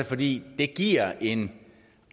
fordi det giver en